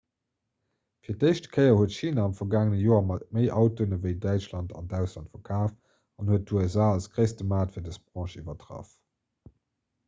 fir d'éischt kéier huet china am vergaangene joer méi autoen ewéi däitschland an d'ausland verkaaft an huet d'usa als gréisste maart fir dës branch iwwertraff